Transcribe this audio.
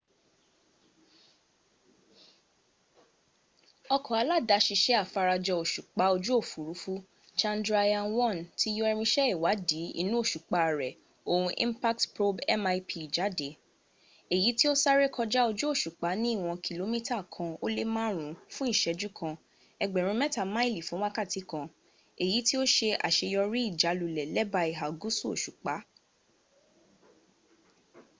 ọkọ̀ aládásiṣẹ́ afara jọ òṣùpá ojú òfúrufú chandrayaan-1 ti yọ irinṣẹ́ iwaàdí inú òṣùpá rẹ̀ oon impact probe mip jáde èyí tí ó sáré kọjá ojú òṣùpá ní ìwọ̀n kìlómítà kan ó lé márùn ún fún ìṣẹ́jú kan ẹgbẹ̀rún mẹ́ta máìlì fún wákàtí kan èyí tí ó se àseyọrí ìjálulẹ̀ lẹ́bàá ìhà gúùsù òṣùpá